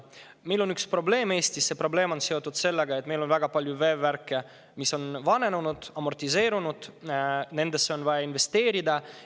Meil Eestis on üks probleem, see on seotud sellega, et meil on väga palju veevärke, mis on vananenud, amortiseerunud, nendesse on vaja investeerida.